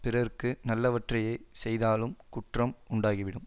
பிறர்க்கு நல்லவற்றையே செய்தாலும் குற்றம் உண்டாகிவிடும்